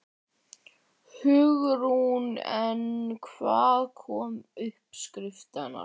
Hugrún: En hvaðan koma uppskriftirnar?